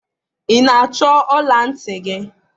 ị na-achọ ọla ntị gị?